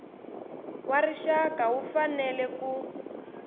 wa rixaka wu fanele ku